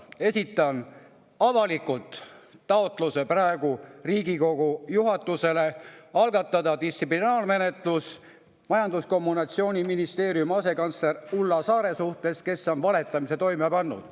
Esitan praegu avalikult taotluse Riigikogu juhatusele algatada distsiplinaarmenetlus Majandus‑ ja Kommunikatsiooniministeeriumi asekantsleri Ulla Saare suhtes, kes on valetamise toime pannud.